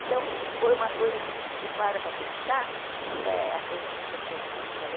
Então, foi uma coisa assim que você para para pensar, a coisa é consequente, sabe?